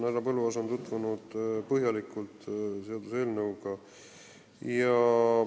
Härra Põlluaas on seaduseelnõuga põhjalikult tutvunud.